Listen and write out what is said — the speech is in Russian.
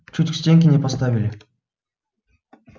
чуть к стенке не поставили